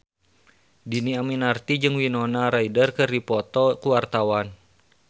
Dhini Aminarti jeung Winona Ryder keur dipoto ku wartawan